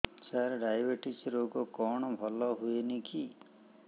ସାର diabetes ରୋଗ କଣ ଭଲ ହୁଏନି କି